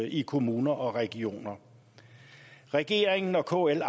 i kommuner og regioner regeringen og kl